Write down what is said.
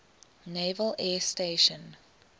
naval air station